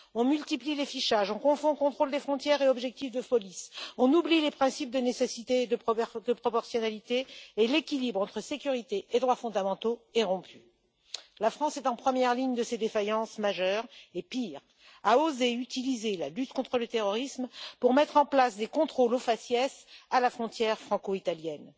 On multiplie les fichages, on confond contrôle des frontières et objectifs de police, on oublie les principes de nécessité et de proportionnalité, tandis que l'équilibre entre sécurité et droits fondamentaux est rompu. La France est en première ligne de ces défaillances majeures et, pire, elle a osé utiliser la lutte contre le terrorisme pour mettre en place des contrôles au faciès à la frontière franco italienne.